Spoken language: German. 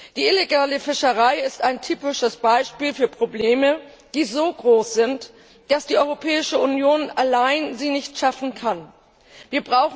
Die illegale Fischerei ist ein typisches Beispiel für Probleme, die so groß sind, dass die Europäische Union alleine sie nicht bewältigen kann.